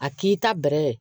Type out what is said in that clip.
A k'i ta bɛrɛ ye